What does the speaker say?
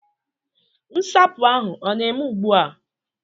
Nsapu ahu o na-eme ugbu a?